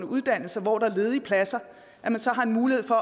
uddannelser hvor der er ledige pladser så har en mulighed for